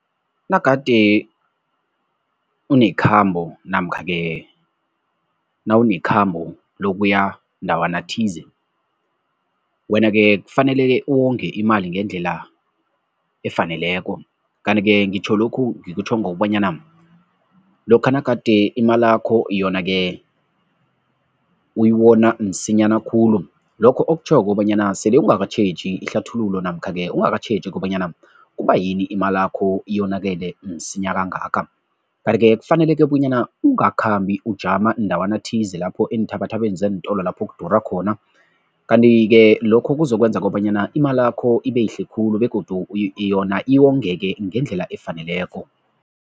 Nagade unekhambo namkha-ke nawunekhambo lokuya ndawana thize, wena-ke kufaneleke uwonge imali ngendlela efaneleko. Kanti-ke ngitjho lokhu, ngikutjho ngokobanyana, lokha nagade imalakho yona-ke uyiwona msinyana khulu, lokho okutjhoko kobanyana sele ungakatjheji ihlathululo namkha-ke ungakatjheji kobanyana kubayini imalakho iyonakele msinya kangaka. Kanti-ke kufaneleke bonyana ungakhambi ujama ndawana thize lapho eenthabathabeni zeentolo lapho kudura khona kanti-ke lokho kuzokwenza kobanyana imalakho ibeyihle khulu begodu yona iwongeke ngendlela efaneleko.